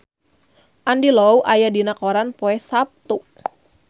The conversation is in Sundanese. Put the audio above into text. Andy Lau aya dina koran poe Saptu